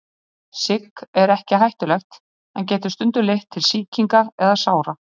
Sigg er ekki hættulegt en getur stundum leitt til sýkinga eða sára.